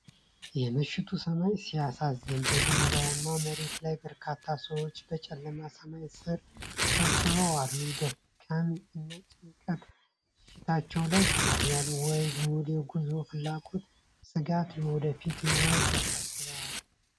የምሽቱ ሰማይ ሲያሳዝን! በድንጋያማ መሬት ላይ በርካታ ሰዎች በጨለመ ሰማይ ስር ተሰብስበው አሉ። ድካም እና ጭንቀት ፊታቸው ላይ ይታያል! ወይ ጉድ፣ የጉዞ ፍላጎትና ስጋት! የወደፊት ሕይወታቸው ያሳስባል።